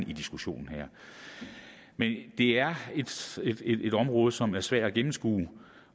i diskussionen her men det er et et område som er svært at gennemskue